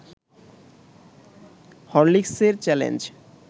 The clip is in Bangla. হরলিকসের চ্যালেঞ্জ